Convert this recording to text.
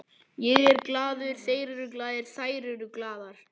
Ég er glaður, þeir eru glaðir, þær eru glaðar.